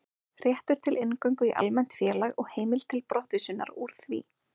Réttur til inngöngu í almennt félag og heimild til brottvísunar úr því.